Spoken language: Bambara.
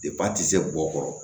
a tɛ se bɔ o kɔrɔ